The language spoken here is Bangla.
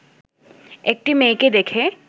একটি মেয়েকে দেখে